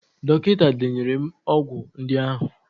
Dọkịta denyere m ọgwụ ndị ahụ.